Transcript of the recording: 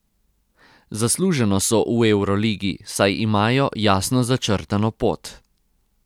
Zasluženo so v evroligi, saj imajo jasno začrtano pot.